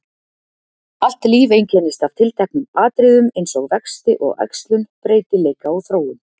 Allt líf einkennist af tilteknum atriðum eins og vexti og æxlun, breytileika og þróun.